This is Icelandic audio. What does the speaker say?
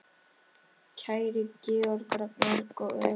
Kæri Georg, Ragnar og Eva.